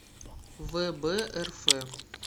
вэбрф